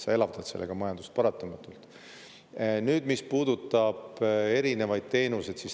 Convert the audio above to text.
Sellega sa paratamatult elavdad majandust.